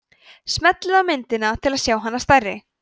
smellið á myndina til að sjá hana stærri